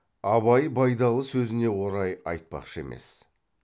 абай байдалы сөзіне орай айтпақшы емес